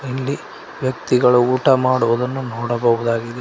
ಇಲ್ಲಿ ವ್ಯಕ್ತಿಗಳು ಊಟ ಮಾಡುವುದನ್ನು ನೋಡಬಹುದಾಗಿದೆ.